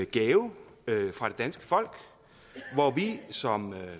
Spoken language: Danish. gave fra det danske folk hvor vi som